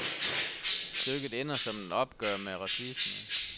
Stykket ender som et opgør med racisme.